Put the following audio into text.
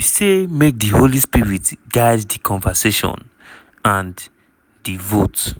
"we say make di holy spirit guide di conversation and di vote."